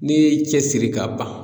N'i y'i cɛ siri ka ban